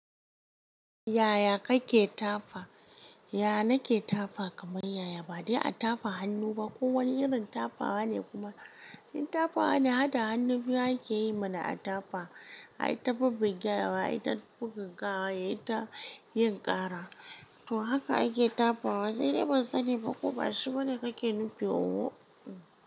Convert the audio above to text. Yaya kake tafa? Yaya nake tafa kamar yaya. Ba dai a tafa hannu ba. Ko wani irin tafawa ne kuma yin tafawa da hada hannu biyu ake yi mana a tafa. Ai ta buga gyawa, ai ta buga gawa, ai ta yin ƙara. To haka ake tafawa. Sai dai ban sani ba ko ba shi bane kake nufi oho?